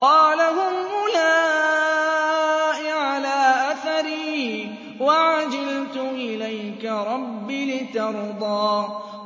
قَالَ هُمْ أُولَاءِ عَلَىٰ أَثَرِي وَعَجِلْتُ إِلَيْكَ رَبِّ لِتَرْضَىٰ